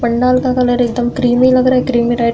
पंडाल का कलर एकदम क्रीमी लग रहा है। Creamy type --